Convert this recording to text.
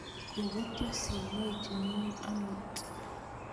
kobetyo simoit nyuun amuut